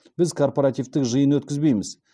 біз корпоративтік жиын өткізбейміз